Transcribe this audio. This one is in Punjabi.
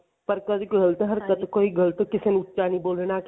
ਪਰ ਕੋਈ ਗਲਤ ਹਰਕਤ ਕੋਈ ਗਲਤ ਕਿਸੇ ਨੂੰ ਉੱਚਾ ਨੀ ਬੋਲਨਾ